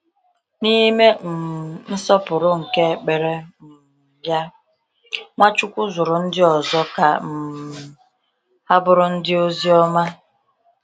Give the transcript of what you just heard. N’ime um nsọpụrụ nke ekpere um ya, Nwachukwu zụrụ ndị ọzọ ka um ha bụrụ ndị ozi ọma.